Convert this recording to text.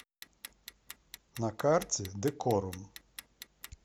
на карте декорум